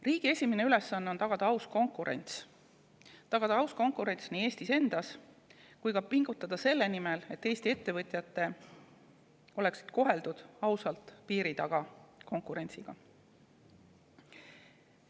Riigi esimene ülesanne on tagada aus konkurents Eestis endas ja pingutada selle nimel, et Eesti ettevõtjatele oleks ka piiri taga aus konkurents.